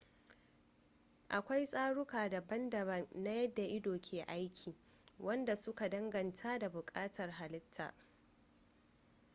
akwai tsaruka daban-daban na yadda ido ke aiki wanda su ka danganta da bukatuwar halitta